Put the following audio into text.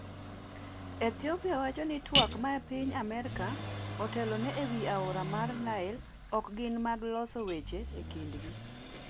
Ethiopia wacho ni twak ma piny Amerka otelone ewi aora mar Nile ok gin mag loso weche e kindgi